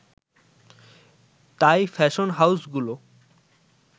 তাই ফ্যাশন হাউসগুলো